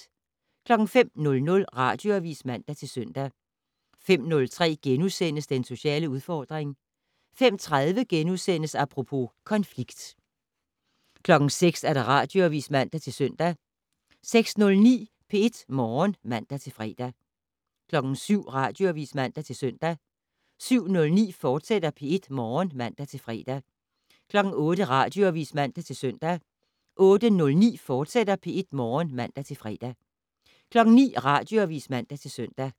05:00: Radioavis (man-søn) 05:03: Den sociale udfordring * 05:30: Apropos - konflikt * 06:00: Radioavis (man-søn) 06:09: P1 Morgen (man-fre) 07:00: Radioavis (man-søn) 07:09: P1 Morgen, fortsat (man-fre) 08:00: Radioavis (man-søn) 08:09: P1 Morgen, fortsat (man-fre) 09:00: Radioavis (man-søn)